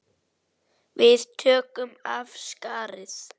Við tókum af skarið.